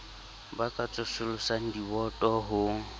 ba ka tsosolosang diboto ho